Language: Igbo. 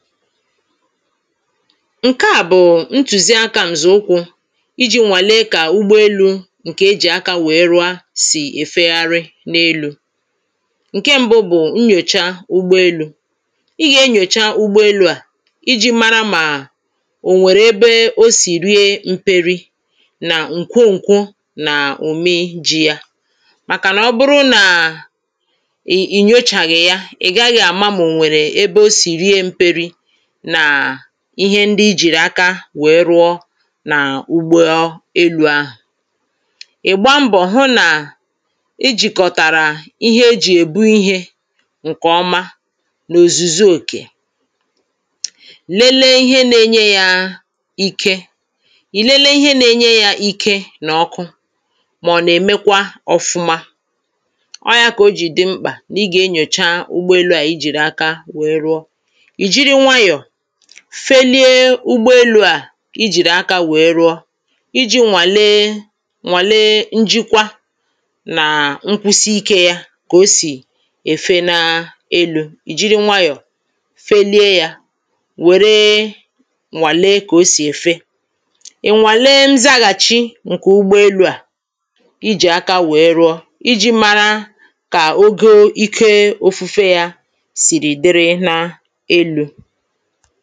ǹke à bụ̀ ntùzi akȧ ǹkè ụkwụ̇ iji̇ nwàlee kà ụgbọelu̇ ǹkè ejì aka wèɛ rụa sì èfegharị n’elu̇ ǹke ṁbụ nnyòcha ụgbọelu̇ i gà-enyòcha ugbọelu̇ à iji̇ mara mà ò nwèrè ebe o sì rie mperi̇ nà ǹkwo ǹkwo nà òme ji̇ yȧ màkànà ọ bụrụ nà ì nyochàghị̀ ya ị̀ gaghị̇ àma mà ò nwèrè ebe o sì rie mperi̇ ihe ndi i jìrì aka wèe rụọ nà ụgbọelu̇ ahụ̀ ị̀ gba mbọ̀ hụ nà i jìkọ̀tàrà ihe ejì èbu ihė ǹkè ọma nà òzùzi òkè lelee ihe na-enye yȧ ike ì lelee ihe na-enye yȧ ike nà ọkụ mà ọ̀ nà-èmekwa ọ̇fụ̇ma ọọ̇ ya kà o jì dị mkpà nà ị gà-enyòcha ụgbọelu̇ à i jìrì aka wèe rụọ felie ụgwọelu̇ à i jìrì aka wèe rụọ iji̇ nwàlee nwàlee njikwa nà nkwusi ikė ya kà o sì èfe n’elu̇, ì jiri nwayọ̀ felie yȧ wèree nwalee kà o sì èfe ì nwàlee nzaghàchi ǹkè ụgwọelu̇ à i jì aka wèe rụọ iji̇ mara kà ogo ike ofu̇fe ya sìrì dịrị n’elu̇ foto